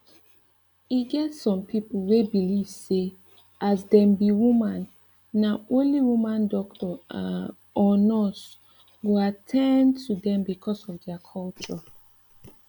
eget some people we belive say as dem be woman na only woman doctor um or nurse go attain to dem because of deir culture